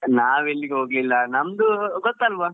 ಇಲ್ಲ ನಾವೆಲ್ಲಿಗೂ ಹೋಗ್ಲಿಲ್ಲ ನಮ್ದು ಗೊತ್ತಲ್ವಾ,